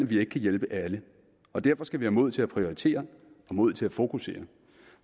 vi ikke kan hjælpe alle derfor skal vi have mod til at prioritere og mod til at fokusere